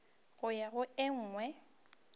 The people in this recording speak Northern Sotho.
go ya go e nngwe